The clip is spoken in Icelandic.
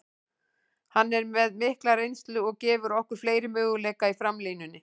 Hann er með mikla reynslu og gefur okkur fleiri möguleika í framlínunni.